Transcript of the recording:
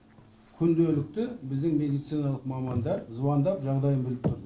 күнделікті біздің медициналық мамандар звандап жағдайын біліп тұрды